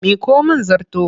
Miƙo mIn zarto!